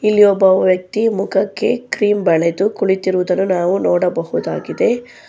ಇಲ್ಲಿ ಒಬ್ಬ ವ್ಯಕ್ತಿ ಮುಖಕ್ಕೆ ಕ್ರೀಮ್ ಬಳೆದು ಕುಳಿತಿರುವುದನ್ನು ನಾವು ನೋಡಬಹುದಾಗಿದೆ.